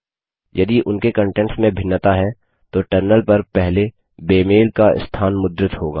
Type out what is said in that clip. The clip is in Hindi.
यदि उनके कंटेंट्स में भिन्नता है तो टर्मिनल पर पहले बेमेल का स्थान मुद्रित होगा